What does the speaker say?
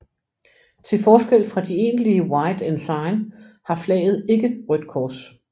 Til forskel fra de egentlige white ensign har flaget ikke rødt kors